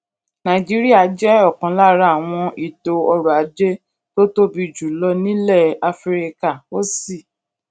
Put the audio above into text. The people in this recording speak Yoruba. nàìjíríà jé òkan lára àwọn ètò ọrò ajé tó tóbi jù lọ nílè áfíríkà ó sì